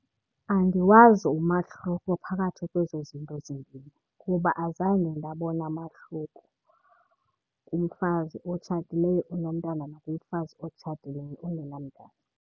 Andiwazi umahluko phakathi kwezo zinto zimbini kuba azange ndabona mahluko kumfazi otshatileyo onomntana nakumfazi otshatileyo ongenamntana.